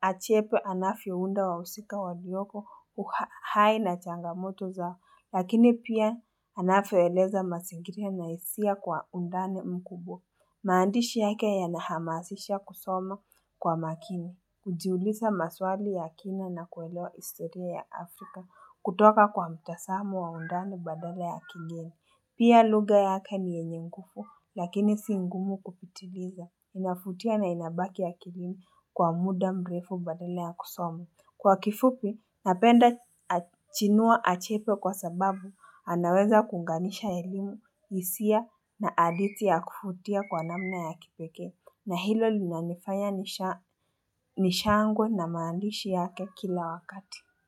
achepe anafiounda wausika walioko uhai na changamoto zao. Lakini pia anafioeleza masingiria na isia kwa undane mkubwa. Maandishi yake yanahamasisha kusoma kwa makini. Kujiulisa maswali ya kina na kuelewa istoria ya Afrika kutoka kwa mtasamo wa undani badala ya kigeni. Pia luga yake ni yenye ngufu lakini singumu kupitiliza. Inafutia na inabaki akilini kwa muda mrefu badala ya kusoma. Kwa kifupi napenda chinua achepe kwa sababu anaweza kuunganisha elimu isia na aditi ya kufutia kwa namna ya kipekee. Na hilo linanifanya nishangwe na maandishi yake kila wakati.